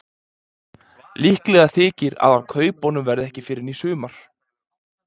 Líklegt þykir að af kaupunum verði ekki fyrr en í sumar.